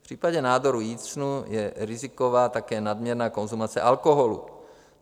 V případě nádorů jícnu je riziková také nadměrná konzumace alkoholu.